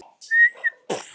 Minn kæri Reynir.